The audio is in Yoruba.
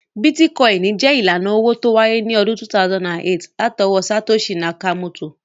Bítíkọ́ìnì jẹ́ ìlànà owó tó wáyé ní ọdún 2008 látọwọ́ Satoshi Nakamoto